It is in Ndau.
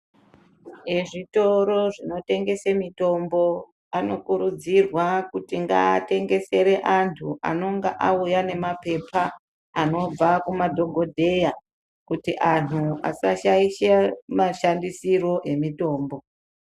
Ezvitoro zvinotengese mitombo anokurudzirwa kuti ngaatengesere antu anonga auya nemapepa anobva kumadhokodheya kuti antu asashaishe mashandisiro emitombo.